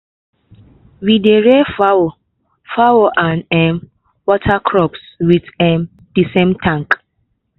we dey rear fowl fowl and um water crops with um the same tank.